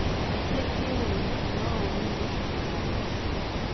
Kũhĩtia tiũũru no ũũru nĩ gũcokera mahĩtia